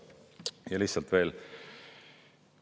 Ja lihtsalt veel.